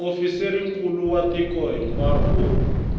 muofisirinkulu wa tiko hinkwaro u